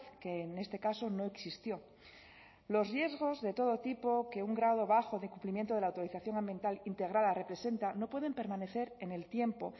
que en este caso no existió los riesgos de todo tipo que un grado bajo de cumplimiento de la autorización ambiental integrada representa no pueden permanecer en el tiempo